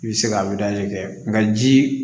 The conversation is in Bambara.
I bɛ se ka kɛ nka ji